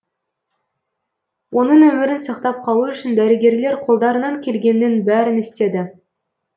оның өмірін сақтап қалу үшін дәрігерлер қолдарынан келгеннің бәрін істеді